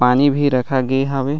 पानी भी रखागे हावे।